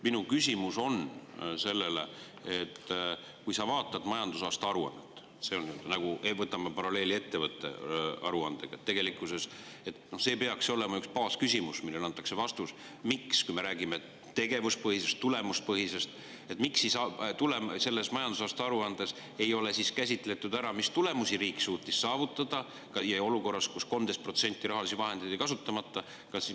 Minu küsimus on selles, et kui sa vaatad majandusaasta aruannet ja tõmbad paralleeli ettevõtte aruandega, siis tegelikkuses peaks olema üks baasküsimus, millele antakse vastus, see: me räägime tegevuspõhisest või tulemuspõhisest, miks siis selles majandusaasta aruandes ei ole käsitletud seda, mis tulemusi suutis riik saavutada olukorras, kus 13% rahalisi vahendeid jäi kasutamata?